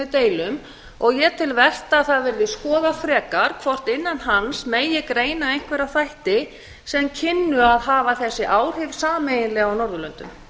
deilum og ég tel vert að það verði skoðað frekar hvort innan hans megi greina einhverja þætti sem kynnu að hafa þessi áhrif sameiginlega á norðurlöndum